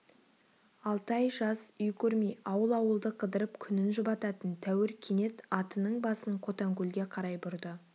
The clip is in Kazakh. алты ай жаз үй көрмей ауыл-ауылды қыдырып күнін жұбататын тәуір кенет атының басын қотанкөлге қарай бұрды